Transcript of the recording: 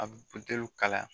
A bɛ butɛliw kalaya